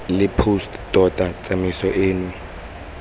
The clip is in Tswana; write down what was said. the post tota tsamaiso eno